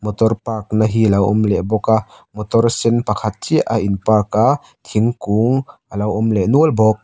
motor park na hi a lo awm leh bawk a motor sen pakhat chiah a in park a thingkung a lo awmleh nual bawk --